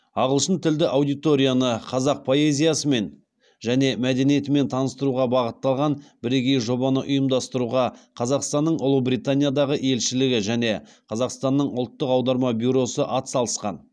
ағылшын тілді аудиторияны қазақ поэзиясымен және мәдениетімен таныстыруға бағытталған бірегей жобаны ұйымдастыруға қазақстанның ұлыбританиядағы елшілігі және қазақстанның ұлттық аударма бюросы атсалысқан